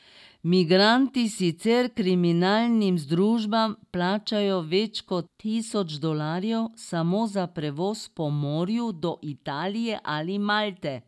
Migranti sicer kriminalnim združbam plačajo več kot tisoč dolarjev samo za prevoz po morju do Italije ali Malte.